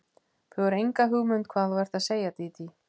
Þú hefur enga hugmynd um hvað þú ert að segja, Dídí.